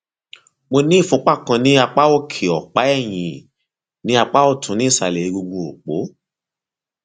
mo ní ìfúnpá kan ní apá òkè ọpá ẹyìn ní apá ọtún ní ìsàlẹ egungun òpó